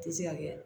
Tɛ se ka kɛ